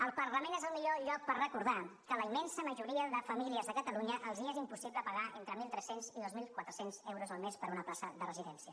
el parlament és el millor lloc per recordar que a la immensa majoria de famílies de catalunya els és impossible pagar entre mil tres cents i dos mil quatre cents euros al mes per una plaça de residència